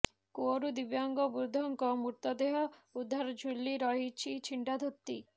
କୂଅରୁ ଦିବ୍ୟାଙ୍ଗ ବୃଦ୍ଧଙ୍କ ମୃତଦେହ ଉଦ୍ଧାର ଝୁଲି ରହିଛି ଛିଣ୍ଡା ଧୋତିିିି